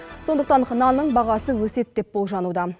сондықтан нанның бағасы өседі деп болжануда